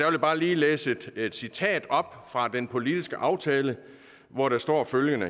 jeg bare lige læse et citat op fra den politiske aftale hvor der står følgende